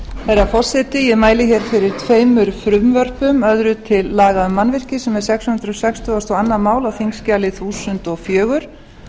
herra forseti ég mæli hér fyrir tveimur frumvörpum öðru til laga um mannvirki sem er sex hundruð sextugustu og önnur mál á þingskjali þúsund og fjögur